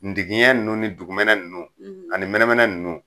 Ndigiɲɛ nunnu ni dugumɛnɛ nunnu, ani mɛnɛmɛnɛ nunnu